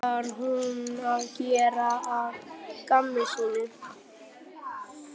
Var hún að gera að gamni sínu?